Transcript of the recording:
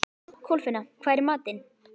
Kolfinna, hvað er í matinn?